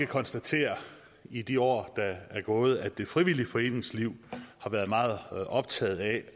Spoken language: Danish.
konstatere i de år der er gået at det frivillige foreningsliv har været meget optaget af